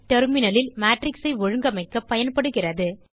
terminalலில் matrix ஐ ஒழுங்கமைக்கப் பயன்படுகிறது